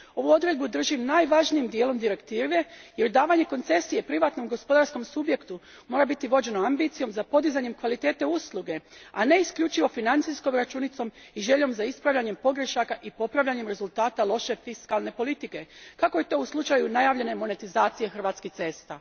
Ovu odredbu držim najvažnijim dijelom Direktive jer davanje koncesije privatnom gospodarskom subjektu mora biti vođeno ambicijom za podizanjem kvalitete usluge, a ne isključivo financijskom računicom i željom za ispravljanjem pogrešaka i popravljanjem rezultata loše fiskalne politike, kako je to u slučaju najavljene monetizacije Hrvatskih cesta.